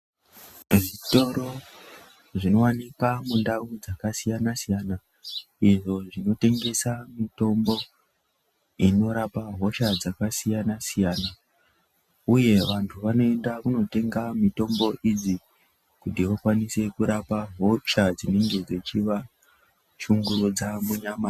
Zvitoro zvinowanikwa mundau dzakasiyana-siyana, izvo zvinotengesa mitombo inorapa hosha dzakasiyana-siyana, uye vantu vanoenda kundotenga mitombo idzi kuti vakwanise kurapa hosha dzinenge dzichivashungurudza munyama.